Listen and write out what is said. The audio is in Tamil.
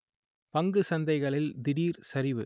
பங்கு சந்தைகளில் திடீர் சரிவு